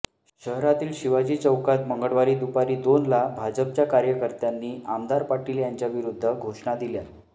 शहरातील शिवाजी चौकात मंगळवारी दुपारी दोनला भाजपच्या कार्यकर्त्यांनी आमदार पाटील यांच्याविरुद्ध घोषणा दिल्या